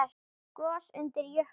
Gos undir jökli